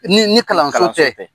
Ni, ni kalanso tɛ.